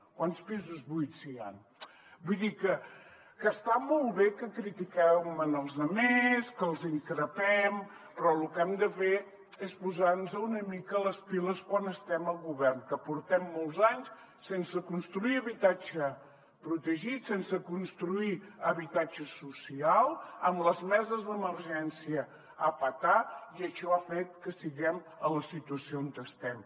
quants pisos buits hi han vull dir que està molt bé que critiquem els altres que els increpem però lo que hem de fer és posarnos una mica les piles quan estem al govern que portem molts anys sense construir habitatge protegit sense construir habitatge social amb les meses d’emergència a petar i això ha fet que estiguem a la situació on estem